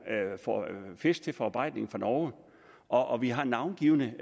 fisk til forarbejdning fra norge og vi har navngivne